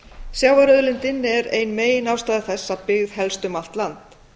sjávarauðlindin er ein meginástæða þess að byggð helst um allt land